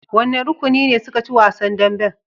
Wannan rukuni ne suka ci wasan dambin?